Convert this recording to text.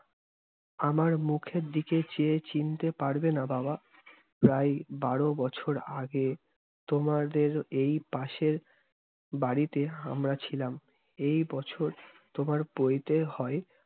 আমার মুখের দিকে চেয়ে চিনতে পারবেনা বাবা! প্রায় বারো বছর আগে, তোমাদের এই পাশের বাড়িতে আমরা ছিলাম। এই বছর তোমার পৈতে হয়,